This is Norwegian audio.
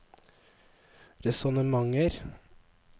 resonnementer